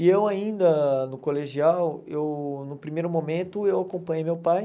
E eu ainda, no colegial, eu no primeiro momento eu acompanhei meu pai.